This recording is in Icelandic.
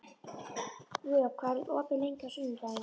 Vök, hvað er opið lengi á sunnudaginn?